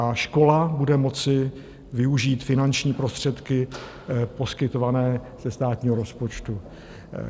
A škola bude moci využít finanční prostředky poskytované ze státního rozpočtu.